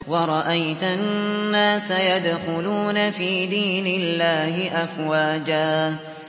وَرَأَيْتَ النَّاسَ يَدْخُلُونَ فِي دِينِ اللَّهِ أَفْوَاجًا